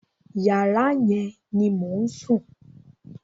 Yàrá yẹn ni mò ń sùn.